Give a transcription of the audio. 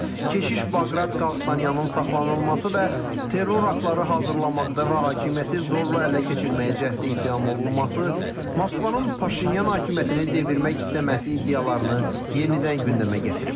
keşiş Baqrat Qalstanyanın saxlanılması və terror aktları hazırlamaqda və hakimiyyəti zorla ələ keçirməyə cəhd ittihamı olunması Moskvann Paşinyan hakimiyyətini devirmək istəməsi iddialarını yenidən gündəmə gətirib.